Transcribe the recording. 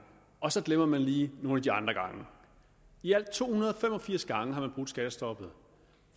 og så glemmer man lige nogle af de andre gange i alt to hundrede og fem og firs gange har man brudt skattestoppet